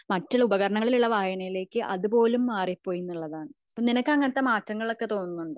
മറ്റൊരു ഉപകാരണങ്ങളിലേക്ക് ഉള്ള വായനയിലേക്ക് അതുപോലും മാറി പോയി എന്നുള്ളതാണ് നിനക്കു അങ്ങനത്തെ മാറ്റങ്ങൾ ഒക്കെ തോന്നുണ്ടോ